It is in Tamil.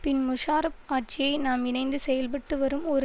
பின் முஷாரஃப் ஆட்சியை நாம் இணைந்து செயல்பட்டு வரும் ஒரு